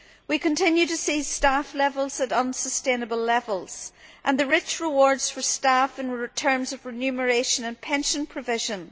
We continue to see staff levels at unsustainable levels and the rich rewards for staff in terms of remuneration and pension provision.